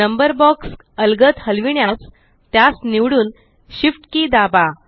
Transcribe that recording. number box अलगद हलविण्यास त्यास निवडून Shift के दाबा